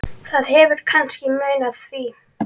Það hefur kannski munað því.